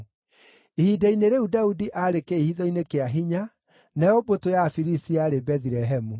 Ihinda-inĩ rĩu Daudi aarĩ kĩĩhitho-inĩ kĩa hinya, nayo mbũtũ ya Afilisti yarĩ Bethilehemu.